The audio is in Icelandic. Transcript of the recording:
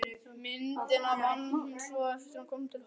Myndina vann hún svo eftir að hún kom til Hollands.